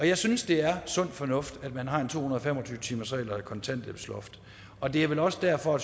jeg synes det er sund fornuft at man har en to hundrede og fem og tyve timersregel og et kontanthjælpsloft og det er vel også derfor